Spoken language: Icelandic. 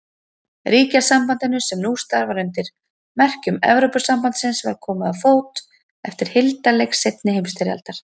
Ríkjasambandinu, sem nú starfar undir merkjum Evrópusambandsins, var komið á fót eftir hildarleik seinni heimsstyrjaldar.